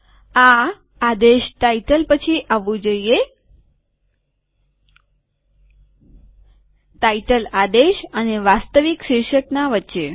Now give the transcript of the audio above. આ આદેશ શીર્ષક પછી આવવું જોઈએ શીર્ષક આદેશ અને વાસ્તવિક શીર્ષકના વચ્ચે